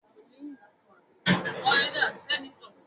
Ìyá Bimpé wa ninu yara ipamọ.